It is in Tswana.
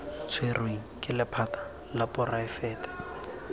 tshwerweng ke lephata la poraefete